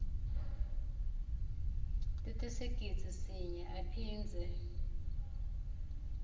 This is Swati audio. letisigidzi sinye aphindze